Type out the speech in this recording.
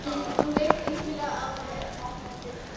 Hún leit einkennilega á mig áður en hún opnaði dyrnar.